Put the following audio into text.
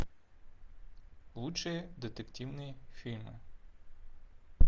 лучшие детективные фильмы